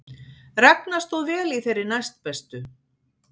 Ragna stóð vel í þeirri næstbestu